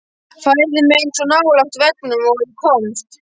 Færði mig eins nálægt veggnum og ég komst.